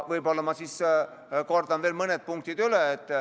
Võib-olla kordan siis veel mõne punkti üle.